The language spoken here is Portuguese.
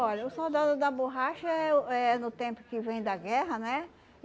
Olha, o soldado da borracha é uh é no tempo que vem da guerra, né?